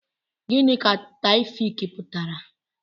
Gịnị ka Taofiq pụtara?